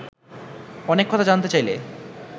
অনেক কথা জানতে চাইলে